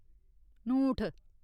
ङूठ